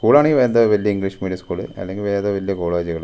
സ്കൂളാണെങ്കി എന്തോ വല്ല്യ English medium school അല്ലെങ്കിൽ വല്യ കോളേജുകള് .